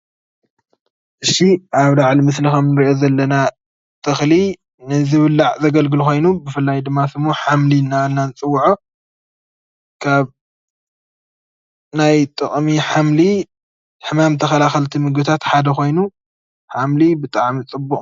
እሺ ኣብ ላዕሊ ከምንሪኦ ዘለና ተኽሊ ንዝብላዕ ዘገልግሉ ኮይኑ ብፍላይ ድማ ስሙ ሓምሊ እናበልና ንፅዉዖ። ካብ ናይ ጥቕሚ ሓምሊ ሕማም ተኸላኸልቲ ምግብታት ሓደ ኾይኑ ሓምሊ ብጣዕሚ ፅቡቕ